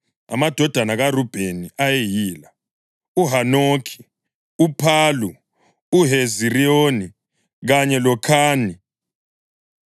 Amadodana kaRubheni ayeyila: uHanokhi, uPhalu, uHezironi, kanye loKhami.